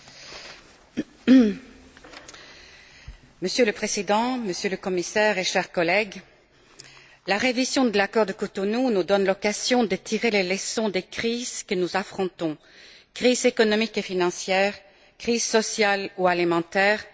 Monsieur le Président, Monsieur le Commissaire, chers collègues, la révision de l'accord de Cotonou nous donne l'occasion de tirer les leçons des crises que nous affrontons crise économique et financière, crise sociale ou alimentaire, changement climatique et défi énergétique,